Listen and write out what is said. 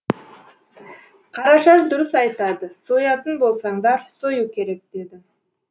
қарашаш дұрыс айтады соятын болсаңдар сою керек деді